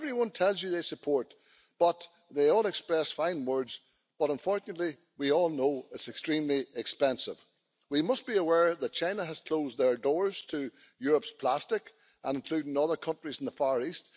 Everyone tells you that they support this, and they all express fine words, but, unfortunately, we all know that it is extremely expensive. We must be aware that China has closed its doors to Europe's plastic, including other countries in the Far East.